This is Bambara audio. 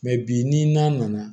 bi ni na na